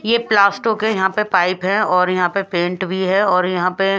ये प्लास्टो के यहां पे पाइप है और यहां पे पेंट भी है और यहां पे --